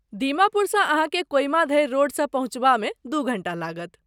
दीमापुरसँ अहाँकेँ कोहिमा धरि रोडसँ पहुँचबामे दू घण्टा लागत।